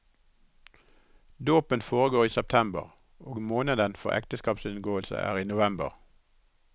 Dåpen foregår i september, og måneden for ekteskapsinngåelser er i november.